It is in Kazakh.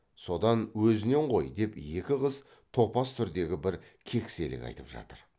содан өзінен ғой деп екі қыз топас түрдегі бір кекселік айтып жатыр